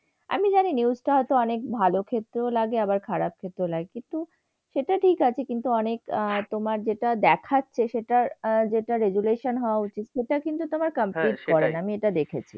আমি জানি news টা হয়তো খারাপ ক্ষেত্রেও লাগে আবার ভালোর ক্ষেত্র লাগে। কিন্তু সেটা ঠিক আছে কিন্তু অনেক আহ তোমার যেটা দেখাচ্ছে সেটার আহ যেটা regulation হওয়া উচিত, সেটা কিন্তু তোমার complete করে না, আমি এটা দেখেছি।